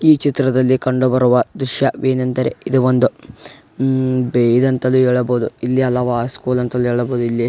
ಈ ಚಿತ್ರದಲ್ಲಿ ಕಂಡು ಬರುವ ದೃಶ್ಯ ವೇನೆಂದರೆ ಇದು ಒಂದು ಇದು ಅಂತಾನೂ ಹೇಳಬಹುದು ಇಲ್ಲಿ ಅಂತಾನೂ ಹೇಳ್ಬಹುದು ಇಲ್ಲಿ.